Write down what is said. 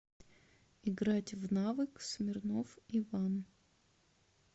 играть в навык смирнов иван